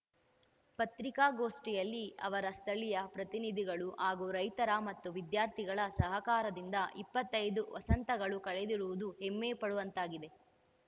ಪತ್ರಿಕಾಗೋಷ್ಠಿಯಲ್ಲಿ ಅವರ ಸ್ಥಳೀಯ ಪ್ರತಿನಿಧಿಗಳು ಹಾಗೂ ರೈತರು ಮತ್ತು ವಿದ್ಯಾರ್ಥಿಗಳ ಸಹಕಾರದಿಂದ ಇಪ್ಪತ್ತೈದು ವಸಂತಗಳು ಕಳೆದಿರುವುದು ಹೆಮ್ಮಪಡುವಂತಾಗಿದೆ